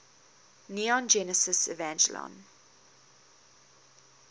neon genesis evangelion